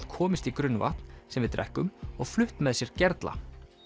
komist í grunnvatn sem við drekkum og flutt með sér gerla